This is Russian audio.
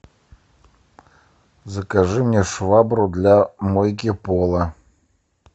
закажи мне швабру для мойки пола